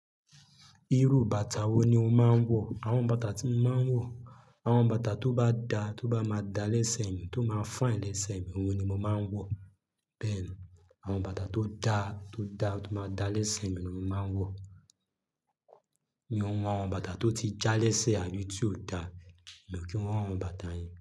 Irú bàtà wo ni o máa ń wọ̀? Awọn bàtà tí mo máa ń wọ̀, awọn bàtà tó bá daa, tó bá máa da lẹ́sẹ̀ mi, tó máa fine lẹ́sẹ̀ mi, ohun ni mo máa ń wọ̀. Bẹ́ẹ̀ ni, awọn bàtà tó daa, tó daa, tó máa da lẹ́sẹ̀ mi ni mo máa ń wọ̀. Mi ò ma wọn awọn bàtà tó ti já lẹ́sẹ̀ àbí tí ò da, mi ò kí wọn awọn bàtà yẹn.